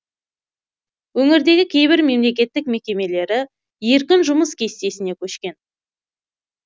өңірдегі кейбір мемлекеттік мекемелері еркін жұмыс кестесіне көшкен